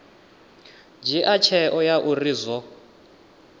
dzhia tsheo ya uri zwo